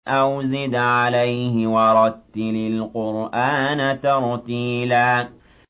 أَوْ زِدْ عَلَيْهِ وَرَتِّلِ الْقُرْآنَ تَرْتِيلًا